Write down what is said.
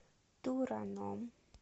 тураном